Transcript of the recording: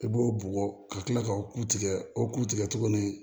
I b'o bɔgɔ ka tila k'o ku tigɛ o ku tigɛ tuguni